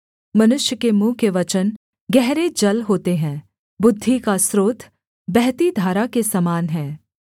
मनुष्य के मुँह के वचन गहरे जल होते है बुद्धि का स्रोत बहती धारा के समान हैं